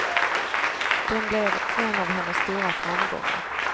Den blev en av hennes stora framgångar.